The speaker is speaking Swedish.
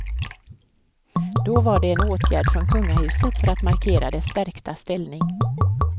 Då var det en åtgärd från kungahuset för att markera dess stärkta ställning.